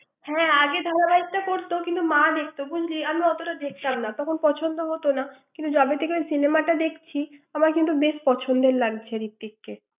হ্যাঁ, আগে ধারাবাহিক তো কিন্তু মা দেখতো বুঝলি আমি অতোটা দেখতাম না তখন পছন্দ হোত না কিন্তু যবে থেকে এই cinema টা দেখছি আমার বেশ পছন্দ লাগছে ঋত্বিককে ৷